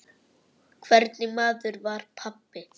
Hvernig maður var pabbi?